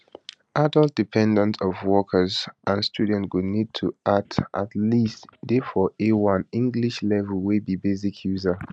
adult dependants of workers and students go need to at at least dey for a1 english level wey be basic user